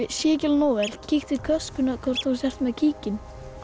sé ekki nógu vel kíktu í töskuna hvort þú sért með kíkinn